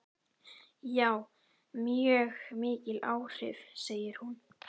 Já, mjög mikil áhrif, segir hún.